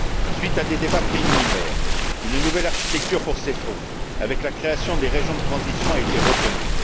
Suite à des débats préliminaires, une nouvelle architecture pour ces fonds, avec la création des régions de transition, a été retenue.